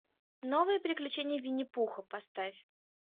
новые приключения винни пуха поставь